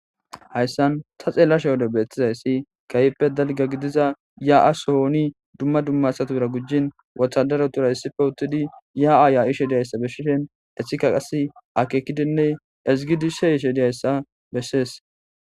hayssan ta xeellashe wode beettizayssi kayippe dalga gidiza ya7as hooni dumma dummasatabira gujjin wothadarotura hissife uttidi ya7a ya7ishediyayssa beshishen eshika qas akekidinne ezgidi sheshediyayssa bessees